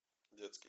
детский